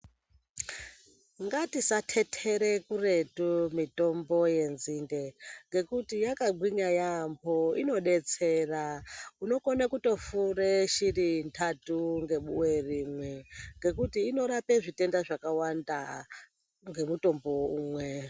Ngatisa tetere kuretu mitombo ye nzinde nekuti yaka gwinya yamho inodetsera unotokona kufura shiri ndatu nge buwe rimwe ngekuti inorapa zvitenda zvakawanda ne mutombo umwe.